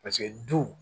Paseke du